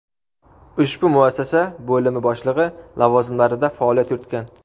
ushbu muassasa bo‘limi boshlig‘i lavozimlarida faoliyat yuritgan.